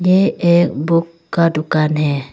ये एक बुक का दुकान है।